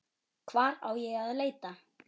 Hvar á ég að leita.